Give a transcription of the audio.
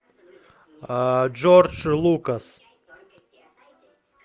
джордж лукас